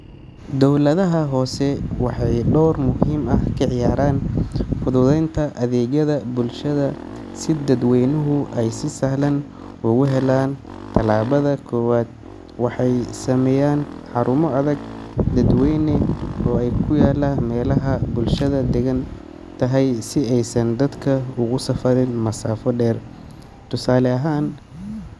Dowladaha hoose waxay door muhiim ah ka ciyaaraan fududeynta adeegyada bulshada si dadweynuhu ay si sahlan ugu helaan. Tallaabada koowaad, waxay sameeyaan xarumo adeeg dadweyne oo ku yaalla meelaha bulshadu degan tahay si aysan dadka ugu safarin masaafo dheer. Tusaale ahaan.